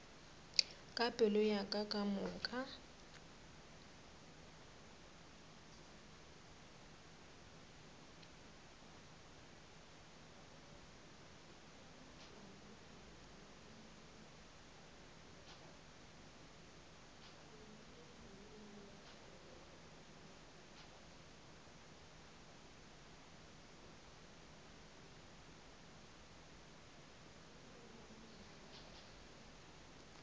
ka pelo ya ka kamoka